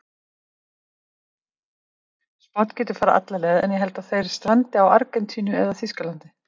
Spánn getur farið alla leið en ég held að þeir strandi á Argentínu eða Þýskaland